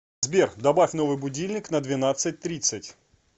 сбер добавь новый будильник на двенадцать тридцать